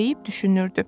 deyib düşünürdü.